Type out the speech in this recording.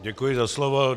Děkuji za slovo.